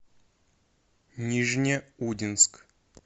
нижнеудинск